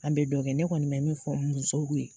An be dɔ kɛ ne kɔni be min fɔ musow ye